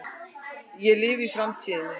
Ég lifi í framtíðinni.